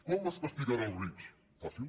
com es castigarà els rics fàcil